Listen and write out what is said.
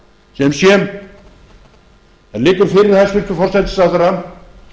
sem sé það liggur fyrir hæstvirtan forsætisráðherra